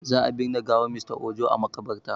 Za a ɓine gawar Mr Ojo are makaɓarta